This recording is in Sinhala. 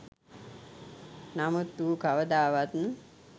නමුත් ඌ කවදාවත්